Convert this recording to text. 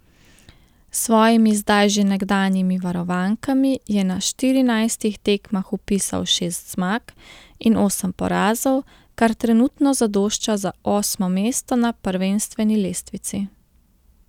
S svojimi zdaj že nekdanjimi varovankami je na štirinajstih tekmah vpisal šest zmag in osem porazov, kar trenutno zadošča za osmo mesto na prvenstveni lestvici.